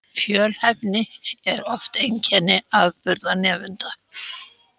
Fjölhæfni er oft einkenni afburðanemenda